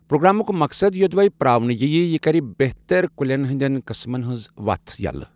پروگرامک مقصد یودوے پراونہٕ ییہ، یہِ كرِ بہتر كُلین ہٕنٛدٮ۪ن قٕسمن ہنٛز وتھ یلہٕ۔